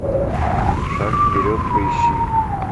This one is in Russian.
шаг вперед поищи